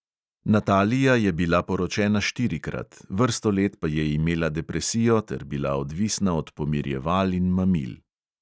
Natalija je bila poročena štirikrat, vrsto let pa je imela depresijo ter bila odvisna od pomirjeval in mamil.